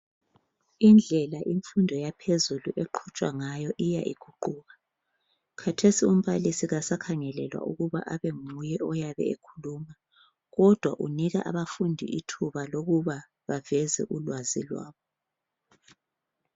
Indlela imfundo yaphezulu eqhutshwa ngayo iya iguquka. Khathesi umbalisi kasakhangelelwa ukuthi abe nguye oyabe ekhuluma kodwa unika abafundi ithuba lokuba baveze ulwazi lwabo.